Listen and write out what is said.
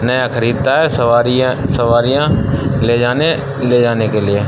नया खरीदता है सवारियाँ। सवारियाँ ले जाने ले जाने के लिए।